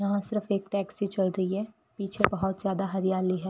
यहां सिर्फ एक टैक्सी चल रही है पीछे बहुत ज्यादा हरियाली है।